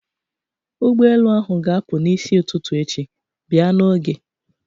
Ụgbọelu ahụ ga-apụ n'isi ụtụtụ echi, bịa n'oge!